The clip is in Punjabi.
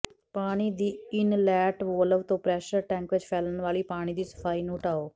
ਪਾਣੀ ਦੀ ਇਨਲੈਟ ਵੋਲਵ ਤੋਂ ਪ੍ਰੈਸ਼ਰ ਟੈਂਕ ਵਿੱਚ ਫੈਲਣ ਵਾਲੀ ਪਾਣੀ ਦੀ ਸਫਾਈ ਨੂੰ ਹਟਾਓ